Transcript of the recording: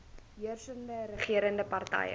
heersende regerende party